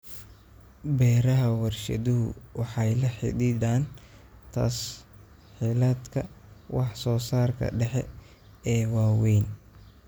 Beeraha warshaduhu waxay la xidhiidhaan tas-hiilaadka wax-soo-saarka dhexe ee waaweyn.